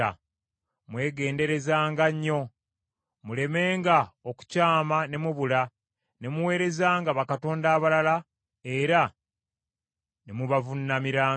Mwegenderezenga nnyo, mulemenga okukyama ne mubula, ne muweerezanga bakatonda abalala era ne mubavuunamiranga.